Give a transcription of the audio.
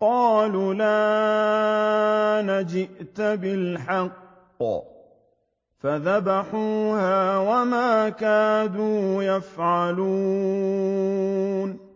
قَالُوا الْآنَ جِئْتَ بِالْحَقِّ ۚ فَذَبَحُوهَا وَمَا كَادُوا يَفْعَلُونَ